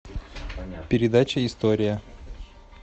передача история